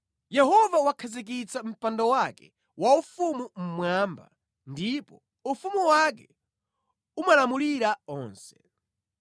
Yehova wakhazikitsa mpando wake waufumu mmwamba ndipo ufumu wake umalamulira onse.